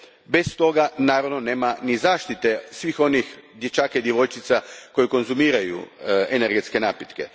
Bez toga, naravno, nema ni zaštite svih onih dječaka i djevojčica koji konzumiraju energetske napitke.